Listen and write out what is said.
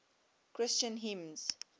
christian hymns